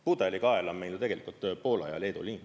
Pudelikael on meil ju tegelikult Poola ja Leedu liin.